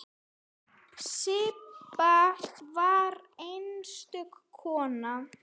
Sibba var einstök kona.